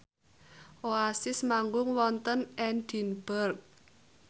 Oasis manggung wonten Edinburgh